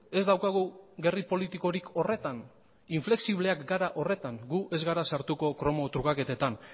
ez daukagu gerri politikorik horretan inflexibleak gara horretan gu ez gara sartuko kromo trukaketetan